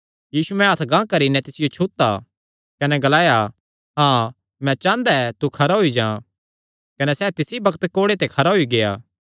यीशुयैं हत्थ गांह करी नैं तिसियो छुता कने ग्लाया मैं चांह़दा ऐ तू खरा होई जां कने सैह़ तिसी बग्त कोढ़े ते खरा होई गेआ